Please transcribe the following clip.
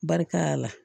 Barika la